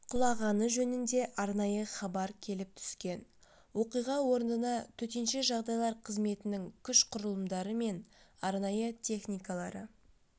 құлағаны жөнінде арнайы хабар келіп түскен оқиға орнына төтенше жағдайлар қызметінің күш-құрылымдары мен арнайы техникалары